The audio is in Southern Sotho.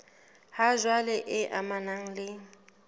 ha jwale e amanang le